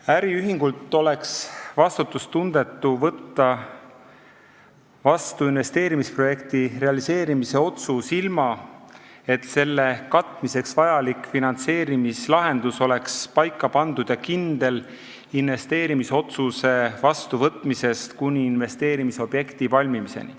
Äriühingult oleks vastutustundetu võtta vastu investeerimisprojekti realiseerimise otsus, ilma et selle katmiseks vajalik finantseerimislahendus oleks paika pandud ja kindel, investeerimisotsuse vastuvõtmisest kuni investeerimisobjekti valmimiseni.